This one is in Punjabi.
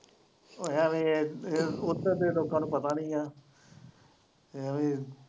ਉੱਧਰ ਦੇ ਲੋਕਾਂ ਨੂੰ ਪਤਾ ਨਹੀਂ ਹੈ .